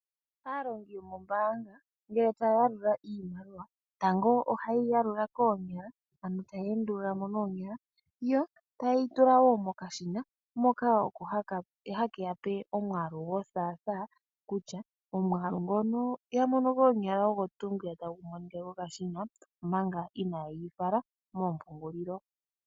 Aalongi yomoombaanga ngele taya yalula iimaliwa tango ohaye yi yalula koonyala ano taya endulula mo noonyala yo taye yi tula wo mokashina moka oko hakeya pe omwaalu gothaathaa kutya omwaalu ngono ya mono koonyala ogo tuu ngwiya tagu monika kokashina omanga inaaye yi fala moompungulilo.